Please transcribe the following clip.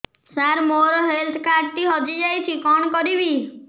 ସାର ମୋର health card ଟି ହଜି ଯାଇଛି କଣ କରିବି